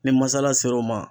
Ni masala ser'o ma